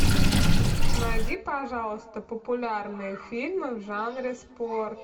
найди пожалуйста популярные фильмы в жанре спорт